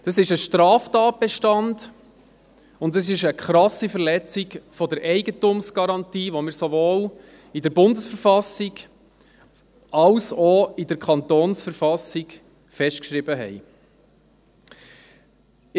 Dies ist ein Straftatbestand und eine krasse Verletzung der Eigentumsgarantie, die wir sowohl in der Verfassung der Schweizerischen Eidgenossenschaft (BV) als auch in der Verfassung des Kantons Bern (KV) festgeschrieben haben.